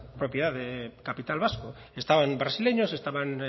propiedad de capital vasco estaban brasileños estaban